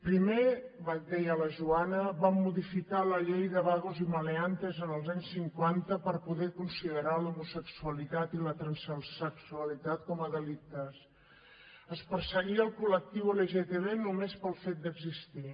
primer deia la joana van modificar la llei de vagos y maleantes en els anys cinquanta per poder considerar l’homosexualitat i la transsexualitat com a delicte es perseguia el col·lectiu lgtb només pel fet d’existir